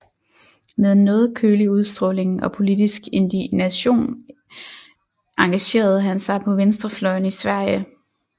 Med en noget kølig udstråling og politisk indignation engagerede han sig på venstrefløjen i Sverige